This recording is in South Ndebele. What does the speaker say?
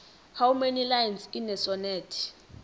how many lines in a sonnet